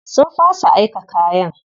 Sun fasa aika kayan.